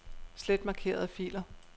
Slet markerede filer.